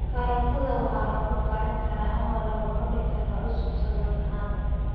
Karootka waxaa lagu kari karaa ama lagu cuni karaa cusub saladh ahaan.